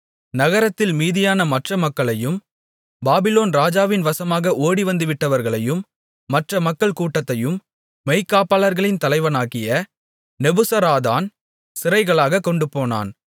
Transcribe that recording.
நகரத்தில் மீதியான மற்ற மக்களையும் பாபிலோன் ராஜாவின் வசமாக ஓடிவந்துவிட்டவர்களையும் மற்ற மக்கள்கூட்டத்தையும் மெய்க்காப்பாளர்களின் தலைவனாகிய நெபுசராதான் சிறைகளாகக் கொண்டுபோனான்